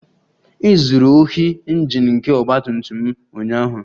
. E zuru ohi Injin nke ọgba tum tum m ụnyaahụ